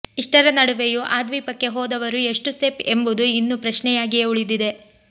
ಇಷ್ಟರ ನಡುವೆಯೂ ಆ ದ್ವೀಪಕ್ಕೆ ಹೋದವರು ಎಷ್ಟು ಸೇಫ್ ಎಂಬುದು ಇನ್ನೂ ಪ್ರಶ್ನೆಯಾಗಿಯೇ ಉಳಿದಿದೆ